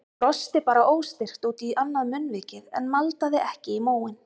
Hún brosti bara óstyrkt út í annað munnvikið en maldaði ekki í móinn.